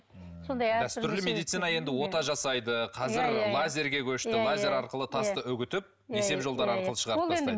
сондай дәстүрлі медицина енді ота жасайды қазір лазерге көшті лазер арқылы тасты үгітіп несеп жолдары арқылы шығарып тастайды